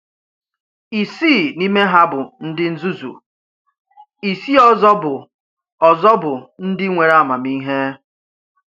Ìsii n’ime ha bụ ndị nzuzu, ìsii ọzọ bụ ọzọ bụ ndị nwere amamihe.